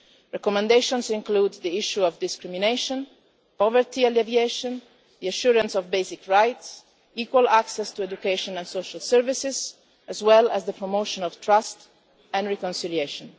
Recommendations include the issue of discrimination, poverty alleviation, assurance of basic rights, equal access to education and social services, as well as the promotion of trust and reconciliation.